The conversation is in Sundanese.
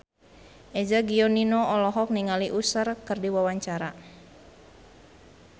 Eza Gionino olohok ningali Usher keur diwawancara